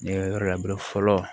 Ne yɔrɔ la fɔlɔ